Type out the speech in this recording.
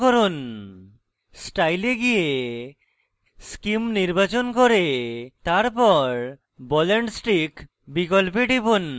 style এ গিয়ে scheme নির্বাচন করে তারপর ball and stick বিকল্পে টিপুন